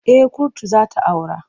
Eh kurtu za ta aura.